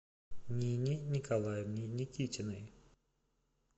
нине николаевне никитиной